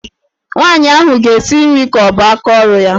Nwaanyị ahụ ga-esi nri ka ọ bụ aka ọrụ ya.